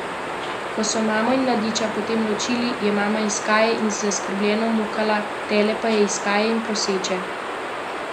Ko so mamo in mladiča potem ločili, je mama iskaje in zaskrbljeno mukala, tele pa je iskaje in proseče odgovarjalo.